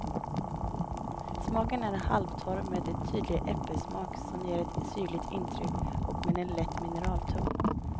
Smaken är halvtorr med en tydlig äpplesmak som ger ett syrligt intryck, och med en lätt mineralton.